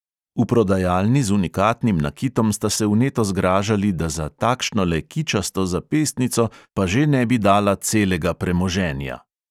V prodajalni z unikatnim nakitom sta se vneto zgražali, da za "takšnole kičasto zapestnico pa že ne bi dala celega premoženja" ...